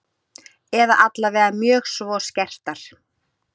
Eða allavega mjög svo skertar.